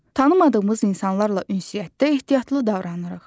Tanımadığımız insanlarla ünsiyyətdə ehtiyatlı davranırıq.